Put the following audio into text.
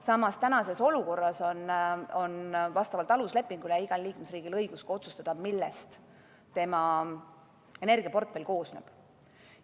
Samas, tänases olukorras on vastavalt aluslepingule igal liikmesriigil õigus otsustada, millest tema energiaportfell koosneb.